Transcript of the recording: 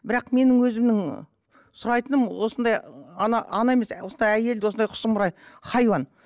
бірақ менің өзімнің сұрайтыным осындай ана ана емес осындай әйелді осындай сұмырай хайуан